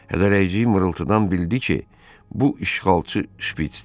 Xırıldayıcı mırıltıdan bildi ki, bu işğalçı Şpiçdir.